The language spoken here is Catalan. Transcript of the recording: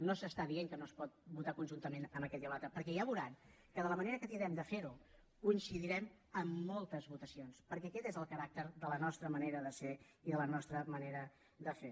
no s’està dient que no es pot votar conjuntament amb aquest i l’altre perquè ja veuran que amb la manera que tindrem de fer ho coincidirem en moltes votacions perquè aquest és el caràcter de la nostra manera de ser i de la nostra manera de fer